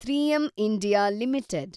(three M India limited